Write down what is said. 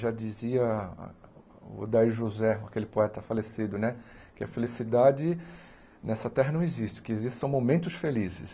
Já dizia Odair José, aquele poeta falecido né, que a felicidade nessa Terra não existe, o que existe são momentos felizes.